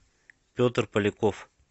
петр поляков